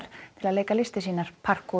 til að leika listir sínar